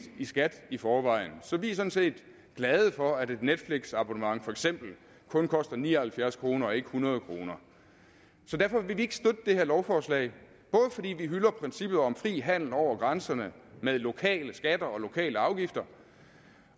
i skat i forvejen så vi er sådan set glade for at et netflixabonnement for eksempel kun koster ni og halvfjerds kroner og ikke hundrede kroner så derfor vil vi ikke støtte det her lovforslag både fordi vi hylder princippet om fri handel over grænserne med lokale skatter og lokale afgifter